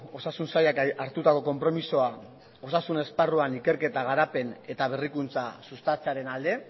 osasun sailak hartutako konpromisoa osasun esparruan ikerketa garapen eta berrikuntza sustatzearen alde